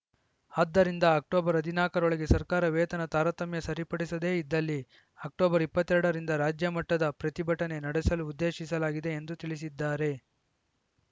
ಅದ್ದರಿಂದ ಅಕ್ಟೋಬರ್ ಹದಿನಾಕರೊಳಗೆ ಸರ್ಕಾರ ವೇತನ ತಾರತಮ್ಯ ಸರಿಪಡಿಸದೇ ಇದ್ದಲ್ಲಿ ಅಕ್ಟೋಬರ್ ಇಪ್ಪತ್ತ್ ಎರಡರಿಂದ ರಾಜ್ಯ ಮಟ್ಟದ ಪ್ರತಿಭಟನೆ ನಡೆಸಲು ಉದ್ದೇಶಿಸಲಾಗಿದೆ ಎಂದು ತಿಳಿಸಿದ್ದಾರೆ